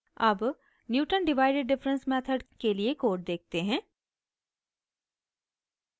अब newton divided difference method के लिए कोड देखते हैं